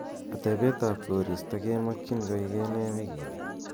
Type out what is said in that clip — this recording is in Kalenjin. atebet ab koristo kemokyin koige nee en wigini